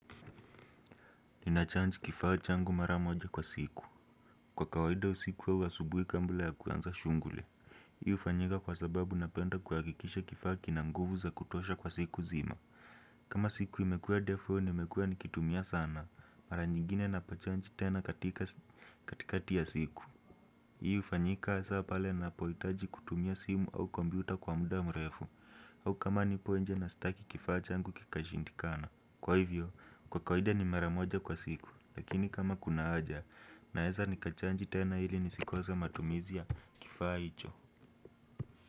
Nina jaji kifaa changu mara moja kwa siku kwa kawaida usiku au asubui kabla ya kuanza shuguli. Hii ufanyika kwa sababu napenda kuhakikisha kifaa kinanguvu za kutosha kwa siku zima. Kama siku imekua ndefu nimekua nikitumia sana mara nyigine napochaji tena katikati ya siku. Hii ufanyika asa pale napoitaji kutumia simu au kompyuta kwa muda mrefu. Au kama nipo nje na staki kifaa changu kikashindikana. Kwa hivyo, kwa kawaida ni maramoja kwa siku. Lakini kama kuna aja naeza nikachaji tena hili nisikose matumizi ya kifaa hicho.